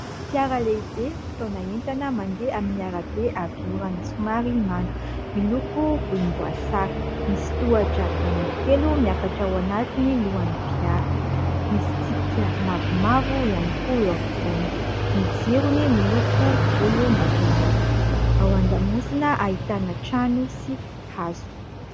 Fiara lehibe mpitaona entana mandeha amin'ny arabe avy orana somary mando miloko volomboasary, misy tohatra anankitelo miakatra ao anatiny lohan'ny fiara misy tsipika mavomavo ihany koa, eo ampovoany ny jirony miloko volombatolalaka, ao an-damosina ahitana trano sy hazo.